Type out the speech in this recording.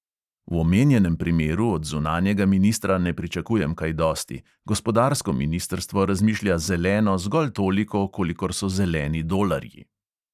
V omenjenem primeru od zunanjega ministra ne pričakujem kaj dosti, gospodarsko ministrstvo razmišlja "zeleno" zgolj toliko, kolikor so zeleni dolarji.